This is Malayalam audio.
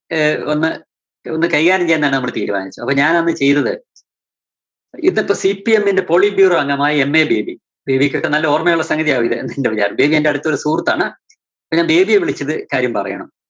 ആഹ് ഒന്ന് ഒന്ന് കൈകാര്യം ചെയ്യാന്‍ തന്നെ നമ്മള് തീരുമാനിച്ചത്. അപ്പോ ഞാൻ അന്ന് ചെയ്തത്. ഇന്നത്തെ CPM ന്റെ politburo അംഗമായ MA ബേബി, ബേബിക്കൊക്കെ നല്ല ഓർമയുള്ള സംഗതിയാകും ഇത് ബേബി എന്റെ അടുത്തൊരു സുഹൃത്താണ്. ഞാൻ ബേബിയെ വിളിച്ചിത് കാര്യം പറയണം.